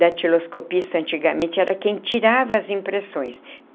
Datiloscopista, antigamente, era quem tirava as impressões.